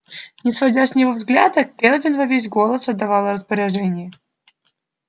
не сводя с него взгляда кэлвин во весь голос отдавала распоряжения